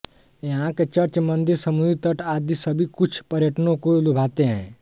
यहां के चर्च मंदिर समुद्री तट आदि सभी कुछ पर्यटकों को लुभाते हैं